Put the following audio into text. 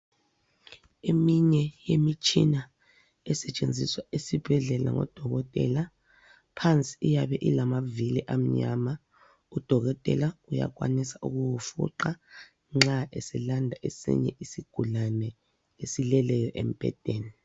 Eminye yemitshina esetshenziswa esibhedlela ngodokotela, phansi iyabe ilamavili amnyama. Udokotela uyakwanisa ukuwufuqa nxa eselanda esinye isigulane esileleyo embhedeni.